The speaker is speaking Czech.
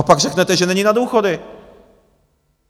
A pak řeknete, že není na důchody!